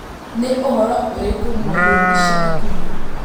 nĩ ũhoro ũrĩkũ mwerũ ica ikuhĩ